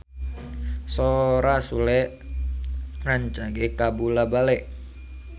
Sora Sule rancage kabula-bale